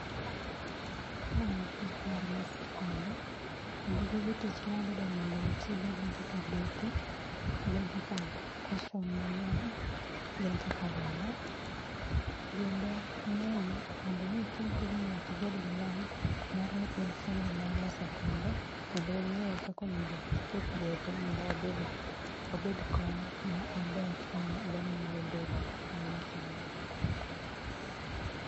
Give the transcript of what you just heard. Ma en tich mar loso kombe. Kendo gige tich mwadhi dwaro mondo watigo gin kaka bepe, gin kaka koshon mayom, gin kaka law. Gendo ng'eyo, mondo mi itim tijni nyaki ibed gi lony mar ni in fundi mar loso kombe kendo ing'eyo kaka onengi iket bepe mondo obed obed kom mo maber ma dhano nyalo bedie ma nyasanie